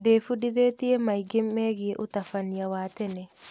Ndĩbundithĩtie maingĩ megiĩ ũtabania wa tene.